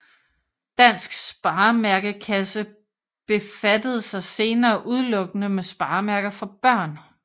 Dansk Sparemærkekasse befattede sig senere udelukkende med sparemærker for Børn